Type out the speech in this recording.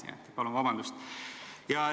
Nii et palun vabandust!